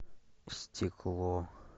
стекло